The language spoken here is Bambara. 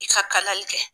I ka kalali kɛ